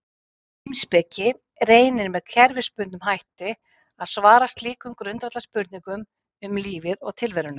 Heimspeki reynir með kerfisbundnum hætti að svara slíkum grundvallarspurningum um lífið og tilveruna.